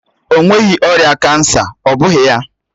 Ọ nweghị ọrịa kansa, ọ́ bụghị ya?